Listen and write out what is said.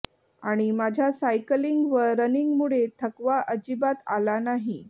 आणि माझ्या सायकलिंग व रनिंगमुळे थकवा अजिबात आला नाही